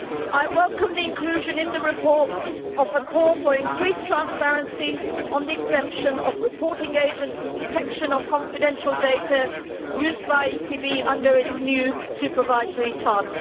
I welcome the inclusion in the report of a call for increased transparency on the exemption of reporting agents and protection of confidential data used by the ECB under its new supervisory task.